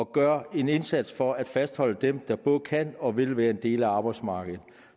gør en indsats for at fastholde dem der både kan og vil være en del af arbejdsmarkedet